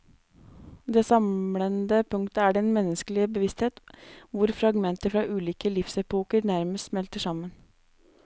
Det samlende punktet er den menneskelige bevissthet hvor fragmenter fra ulike livsepoker nærmest smelter sammen.